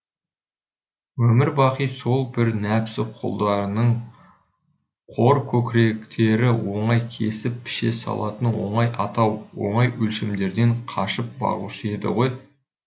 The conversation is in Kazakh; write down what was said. өмір бақи сол бір нәпсі құлдарының қор көкіректері оңай кесіп піше салатын оңай атау оңай өлшемдерден қашып бағушы еді ғой